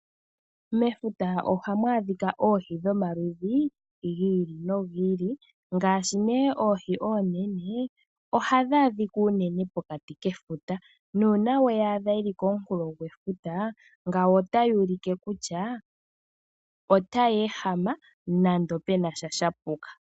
Mefuta ohamu adhika oohi dhomaludhi gi ili nogi ili. Ngaashi nee oohi oonene, ohadhi adhika unene pokati kefuta. Nuuna weyi adha yili komunkulo gwefuta, ngawo otayi ulike kutya otayi ehama, nenge penasha shapuka.